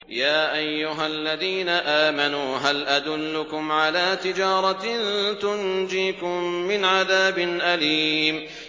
يَا أَيُّهَا الَّذِينَ آمَنُوا هَلْ أَدُلُّكُمْ عَلَىٰ تِجَارَةٍ تُنجِيكُم مِّنْ عَذَابٍ أَلِيمٍ